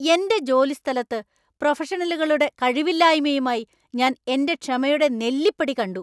എന്‍റെ ജോലിസ്ഥലത്ത് പ്രൊഫഷണലുകളുടെ കഴിവില്ലായ്മയുമായി ഞാൻ എന്‍റെ ക്ഷമയുടെ നെല്ലിപ്പടി കണ്ടു.